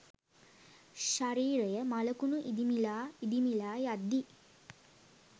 ශරීරය මළකුණ ඉදිමිලා ඉදිමිලා යද්දි